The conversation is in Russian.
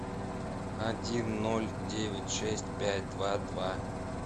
один ноль девять шесть пять два два